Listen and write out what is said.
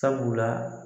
Sabula